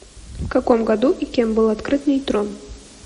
в каком году и кем был открыт нейтрон